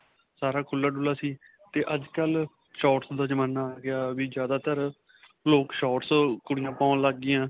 ਸਾਰਾ ਖੁੱਲਾ-ਡੁੱਲਾ ਸੀ ਨਾ 'ਤੇ ਅੱਜਕਲ੍ਹ shorts ਦਾ ਜਮਾਨਾ ਆ ਗਿਆ ਵੀ ਜਿਆਦਾ ਤਰ ਲੋਕ shorts ਕੁੜੀਆ ਪਾਉਣ ਲਗੀਆਂ.